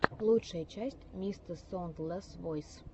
лучшая часть мистэсоундлэсвойс